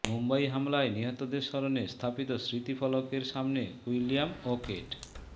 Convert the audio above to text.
মুম্বাই হামলায় নিহতদের স্মরণে স্থাপিত স্মৃতি ফলকের সামনে উইলিয়াম ও কেট